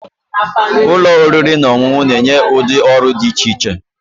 Ụlọ oriri na ọṅụṅụ na-enye ụdị ọrụ dị iche iche